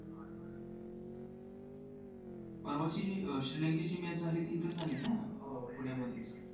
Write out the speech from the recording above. परवाची श्रीलंकेची match झाली ती इथंच झाली ना हो पुण्यामध्येच